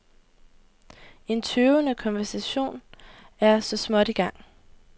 En tøvende konversation er så småt i gang.